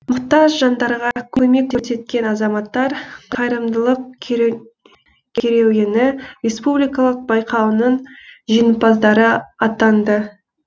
мұқтаж жандарға көмек көрсеткен азаматтар қайырымдылық керуені республикалық байқауының жеңімпаздары атанды